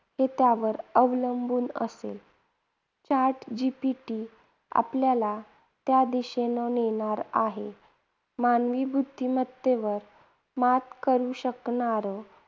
हे त्यावर अवलंबून असेल. Chat GPT आपल्याला त्या दिशेने नेणार आहे. मानवी बुद्धिमत्तेवर मात करू शकणारं